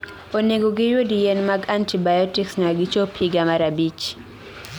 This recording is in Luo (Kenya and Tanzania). Onego giyud yien mag antibiotics nyaka gichop higa mar 5